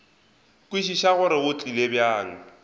kwešiša gore go tlile bjang